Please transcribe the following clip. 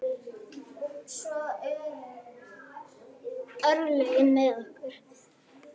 Svo voru örlögin með okkur.